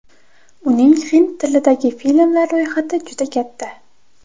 Uning hind tilidagi filmlar ro‘yxati juda katta.